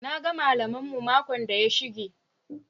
"Na ga mallam mu makon da ya shige o."